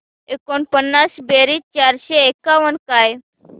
एकोणपन्नास बेरीज चारशे एकावन्न काय